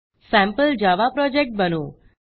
sample Java project बनवू